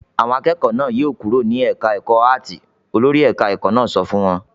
"Àwọn akẹ́kọ̀ọ́ náà yóò kúrò ní ẹ̀ka-ẹ̀kọ́ áátì!" Olórí ẹ̀ka-ẹ̀kọ́ náà sọ fún wọn.